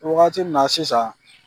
wagati min na sisan.